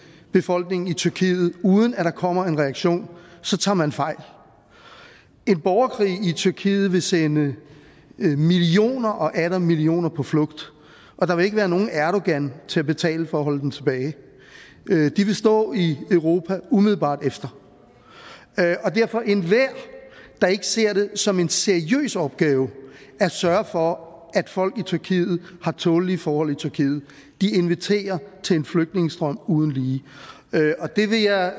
befolkningen i tyrkiet uden at der kommer en reaktion så tager man fejl en borgerkrig i tyrkiet vil sende millioner og atter millioner på flugt og der vil ikke være nogen erdogan til at betale for at holde dem tilbage de vil stå i europa umiddelbart efter så enhver der ikke ser det som en seriøs opgave at sørge for at folk i tyrkiet har tålelige forhold i tyrkiet inviterer til en flygtningestrøm uden lige det vil jeg